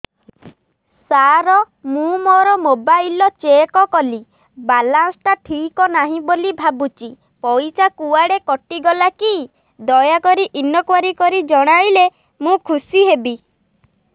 ସାର ମୁଁ ମୋର mobile check କଲି ବାଲାନ୍ସ ଟା ଠିକ ନାହିଁ ବୋଲି ଭାବୁଛି ପଇସା କୁଆଡେ କଟି ଗଲା କି ଦୟାକରି ଇନକ୍ୱାରି କରି ଜଣାଇଲେ ମୁଁ ଖୁସି ହେବି